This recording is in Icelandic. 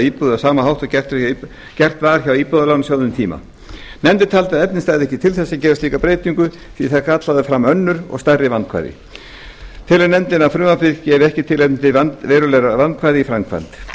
íbúðar á sama hátt og gert var hjá íbúðalánasjóði um tíma nefndin taldi að efni stæðu ekki til þess að gera slíka breytingu því að það kallaði fram önnur og stærri vandkvæði nefndin telur að frumvarpið gefi ekki tilefni til verulegra vandkvæða